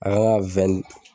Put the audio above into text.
An ka